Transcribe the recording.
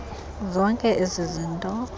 zonke ezi zinto